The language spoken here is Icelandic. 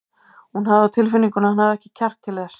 Hún hafði á tilfinningunni að hann hefði ekki kjark til þess.